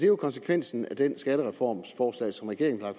jo konsekvensen af det skattereformforslag som regeringen har